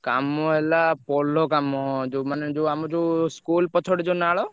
କାମ ହେଲା ପୋଲ କାମ ଯୋଉ ମାନେ ଯୋଉ ଆମ ଯୋଉ school ପଛ ପଟେ ଯୋଉ ନାଳ।